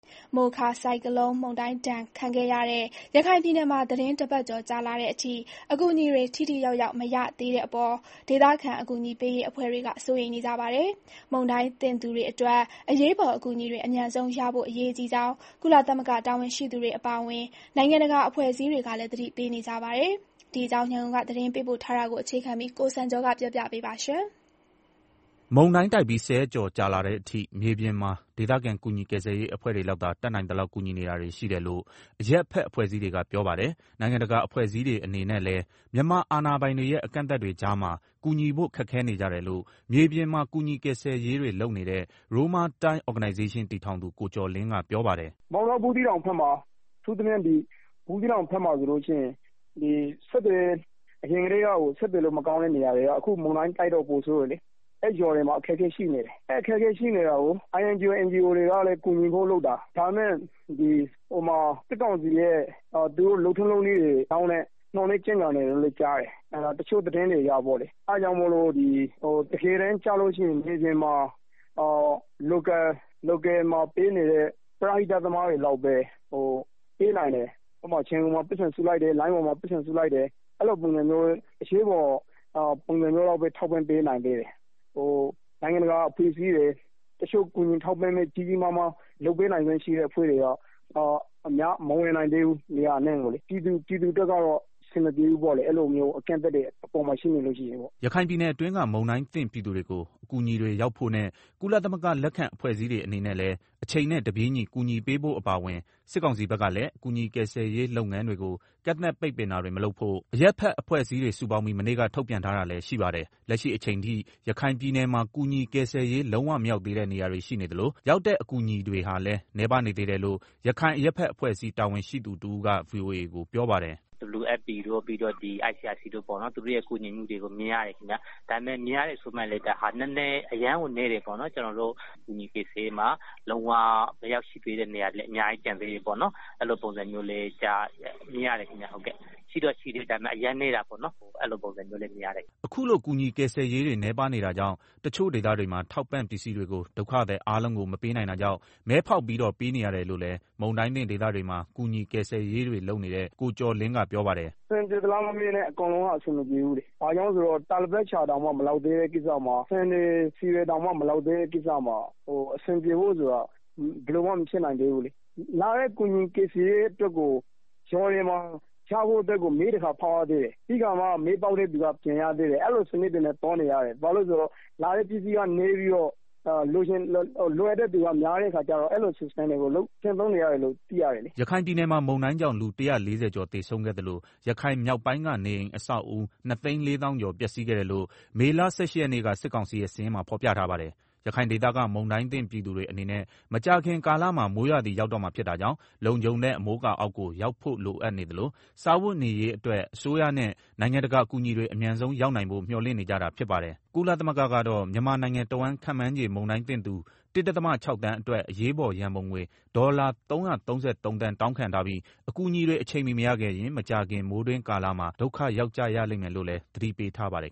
မိုခါဆိုင်ကလုန်း မုန်တိုင်းဒဏ် ခံခဲ့ရတဲ့ ရခိုင်ပြည်နယ်မှာ သီတင်း ၁ ပတ်ကျော် ကြာလာတဲ့အထိ အကူအညီတွေ ထိထိရောက်ရောက် မရသေးတဲ့အပေါ် ဒေသခံ အကူအညီပေးရေး အဖွဲ့တွေ စိုးရိမ်နေကြပါတယ်။ မုန်တိုင်းသင့်သူတွေအတွက် အရေးပေါ် အကူအညီတွေ အမြန်ဆုံးရဖို့ အရေးကြီးကြောင်း ကုလသမဂ္ဂ တာဝန်ရှိသူတွေ အပါအဝင် နိုင်ငံတကာ အဖွဲ့အစည်းတွေကလည်း သတိပေးနေကြတာပါ။ ဒီအကြောင်း ရန်ကုန်က သတင်းပေးပို့ထားတာကို အခြေခံပြီး ကိုစံကျော်ကတင်ပြပေးပါမယ်။ မုန်တိုင်းတိုက်ပြီးဆယ်ရက်ကျော်လာတဲ့ အထိ မြေပြင်မှာ ဒေသခံ ကူညီကယ်ရေးအဖွဲ့တွေလောက်သာ တတ်နိုင်သလောက်ကူညီနေတာတွေရှိတယ်လို့ အရပ်ဖက်အဖွဲ့အစည်းတွေက ပြောပါတယ်။ နိုင်ငံတကာ အဖွဲ့အစည်းတွေအနေနဲ့လည်း မြန်မာအာဏာပိုင်တွေရဲ့ အကန့်အသတ်တွေကြားမှာ ကူညီဖို့ ခက်ခဲနေကြတယ်လို့ မြေပြင်မှာ ကူညီကယ်ဆယ် တွေလုပ်နေတဲ့ Roma Time Organization တည်ထောင်သူ ကိုကျော်လင်းကပြောပါတယ်။ “ မောင်တော ဘူးသီးတောင်ဘက်မှာ အထူးသဖြင့် ဘူးသီးတောင်ဘက်မှာ အရင်ကတည်းက ဆက်သွယ်ရေး မကောင်းတဲ့နေရာတွေက အခုမုန်တိုင်းတိုက်တော့ ပိုဆိုးတယ်။ အဲနေရာ တွေမှာ အခက်အခဲဖြစ်နေတယ်။ အဲတာကို INGO NGO တွေက ကူညီဖို့လုပ်တာ၊ ဒါပေမယ့် စစ်ကောင်စီရဲ့ လုပ်ထုံးလုပ်နည်းတွေကြောင့် နှောင့်နည်းကြန့်ကြာ နေတယ်လို့ကြား တယ်။ တချို့သတင်းတွေအရ တကယ်တမ်း ကျရင် မြေမြင်မှာ Local ပရဟိတ သမားတွေ လောက်ပဲ ပေးနိင်တယ် ဥပမာ လိုင်းပေါ်မှာ ပိုက်ဆံစုလိုက်တယ် အဲလို အရေးပေါ်ပုံစံမျိုး လောက်ပဲ ထောက်ပံ့ပေးနိုင်သေးတယ်။ နိုင်ငံတကာအဖွဲ့တွေ တခြား ကြီးကြီးမားမား ကူညီထောက် ပံ့ပေးနိုင်တဲ့ အဖွဲ့တွေက မဝင်နိုင်သေးဘူး နေရာအနှံ့ကိုလေ၊ ပြည်သူအတွက် ကတော့ အဆင်မပြေဘူးပေါ့လေ အဲလို အကန့်အသတ်တွေရှိနေရင်လေ။” ရခိုင်ပြည်နယ်အတွင်းက မုန်တိုင်းသင့်ပြည်သူတွေကို အကူညီတွေ ရောက်ဖို့ နဲ့ ကုလသမဂ္ဂ လက်အောက်ခံအဖွဲ့အစည်းတွေအနေနဲ့လည်း အချိန်နဲ့တပြေးညီ ကူညီပေးဖို့အပါအဝင် စစ်ကောင်စီဘက်ကလည်း ကူညီကယ်ဆယ်ရေးလုပ်ငန်းတွေကို ကန့်သတ်ပိတ်ပင်တာတွေ မလုပ်ဖို့ အရပ်ဖက်အဖွဲ့အစည်းတွေ စုပေါင်းပြီး မနေ့က ထုတ်ပြန်ထားတာလည်းရှိပါတယ်။ လက်ရှိအချိန်ထိ ရခိုင်ပြည်နယ်မှာ ကူညီကယ်ဆယ်ရေး လုံးဝမရောက်သေးတဲ့ နေရာတွေ ရှိနေသလို ရောက်တဲ့ အကူအညီတွေဟာလည်း နည်းပါးနေသေးတယ်လို့ ရခိုင်အရပ်ဖက်အဖွဲ့ အစည်းတာဝန်ရှိသူတဦးကပြောပါတယ်။ “ WFP တို့ ICRC တို့ရဲ့ ကူညီမှုတွေကို မြင်ရတယ်ခင်ဗျာ၊ ဒါပေမယ့် မြင်ရတယ်ဆိုပေမယ့် အရမ်းကို နည်းတယ်ပေါ့နော်၊ကျနော်တို့ ကူညီကယ်ဆယ်ရေးမှာလုံးဝကို မရောက်ရှိ သေးတဲ့နေရာတွေလည်း အများကြီးကျန်သေးတယ်ပေါ့နော်၊ အဲလိုပုံစံတွေ လည်းမြင် ရတယ်။” အခုလို ကူညီကယ်ဆယ်ရေးတွေ နည်းပါးနေတာကြောင့် တချို့ ဒေသတွေမှာထောက်ပံ့ ပစ္စည်းတွေကို ဒုက္ခသည်အားလုံးကို မပေးနိုင်တာကြောင့်မဲဖောက်ပြီးတော့ ပေးနေရတယ် လို့လည်း မုန်တိုင်းသင့်ဒေသတွေမှာ ကူညီဆယ်ကယ်ရေးတွေလုပ်နေ တဲ့ကိုကျော်လင်း ကပြောပါတယ်။ “ အဆင်ပြေသလားမမေးနဲ့ အကုန်လုံးက အဆင်မပြေဘူးလေ ဘာကြောင့်လဲဆိုတော့ တာပေါ်လိပ်တောင်မှမလောက်သေးတဲ့ ကိစ္စမှာ ဆန်တွေ ဆီတွေတောင်မှ မောလကသေးတဲ့ ကိစ္စမှာ အဆင်ပြေဖို့ဆိုတာ ဘယ်လိုမှမဖြစ်နိုင် သေးဘူးလေ၊ လာတဲ့ ကူညီကယ်ဆယ်ရေး တွေကို မဲတခါ ဖောက်ရသေးတယ်၊ ပြီးတော့မှ မဲပေါက်တဲ့သူက ပြန်ရတာအဲလို စနစ်တွေနဲ့ သွားနေရတယ် ဘာလို့လည်းဆိုတော့ လာတဲ့ ကူညီရေးပစ္စည်းတွေက နည်းပြီး လိုအပ်တဲ့သူက များနေတဲ့အခါကျတော့ အဲလို စနစ်နဲ့ပဲ သွားနေရတယ်လို့ သိရတယ်။ ” ရခိုင်ပြည်နယ်မှာမုန်တိုင်းကြောင့် လူ ၁၄၀ကျော်သေဆုံးခဲ့သလို ရခိုင်မြောက်ပိုင်းက နေအိမ်အဆောက်အဦး ၂၄၀၀၀၀ ကျော် ပျက်စီးခဲ့တယ်လို့ မေလ ၁၈ရက်နေ့က စစ်ကောင်စီရဲ့ စာရင်းမှာဖော်ပြထားပါတယ်။ ရခိုင်ဒေသက မုန်တိုင်းသင့်ပြည်သူတွေ အနေနဲ့ မကြာခင်ကာလမှာ မိုးရာသီရောက်တော့မှာဖြစ်တာကြောင့် လုံခြုံတဲ့အမိုးအကာအောက်ကို ရောက်ဖို့လိုအပ်နေသလို စားဝတ်နေရေးအတွက် အစိုးရနဲ့ နိုင်ငံတကာအကူအညီတွေ အမြန်ဆုံးရောက်နိုင်ဖို့ မျှော်လင့်နေကြတာပါတယ်။ ကုလသမဂ္ဂကတော့ မြန်မာနိုင်ငံတဝန်း ခန့်မှန်းခြေ မုန်တိုင်းသင့်သူ ၁.၆ သန်း အတွက် အရေးပေါ် ရန်ပုံငွေ ဒေါ်လာ ၃၃၃ သန်း တောင်းခံထားပြီး၊ အကူအညီတွေ အချိန်မီမရခဲ့ရင် မကြာခင် မိုးတွင်းကာလမှာ ဒုက္ခရောက်ကြရလိမ့်မယ်လို့လည်း သတိပေးထားပါတယ်